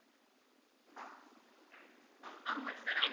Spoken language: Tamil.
ஆமா sir ஆமா